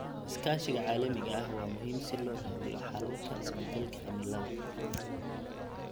Iskaashiga caalamiga ah waa muhiim si loo raadiyo xalalka isbeddelka cimilada.